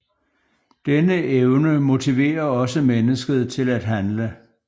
Denne evne motiverer også mennesket til at handle